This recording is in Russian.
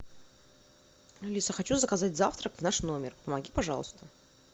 алиса хочу заказать завтрак в наш номер помоги пожалуйста